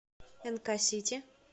нк сити